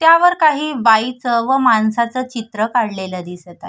त्यावर काही बाईच व माणसच चित्र काढलेल दिसत आहे.